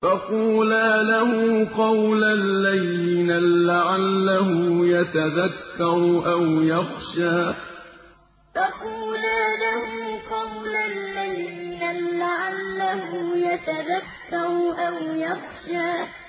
فَقُولَا لَهُ قَوْلًا لَّيِّنًا لَّعَلَّهُ يَتَذَكَّرُ أَوْ يَخْشَىٰ فَقُولَا لَهُ قَوْلًا لَّيِّنًا لَّعَلَّهُ يَتَذَكَّرُ أَوْ يَخْشَىٰ